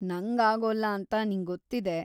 ನಂಗಾಗೋಲ್ಲ ಅಂತ ನಿಂಗೊತ್ತಿದೆ.